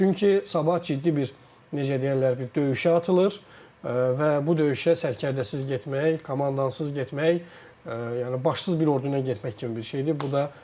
Çünki sabah ciddi bir necə deyərlər bir döyüşə atılır və bu döyüşə sərkərdəsiz getmək, komandansız getmək, yəni başsız bir orduyla getmək kimi bir şeydir.